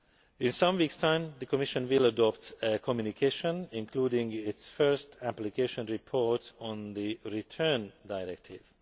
In some weeks' time, the Commission will adopt a communication including its first application report on the Return Directive.